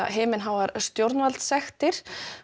himinháar stjórnvaldssektir